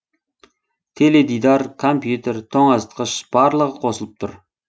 теледидар компьютер тоңазытқыш барлығы қосылып тұр